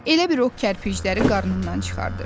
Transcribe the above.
Elə bil o kərpicləri qarnından çıxardır.